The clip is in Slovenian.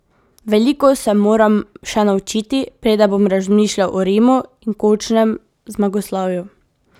Veliko se moram še naučiti, preden bom razmišljal o Rimu in končnem zmagoslavju.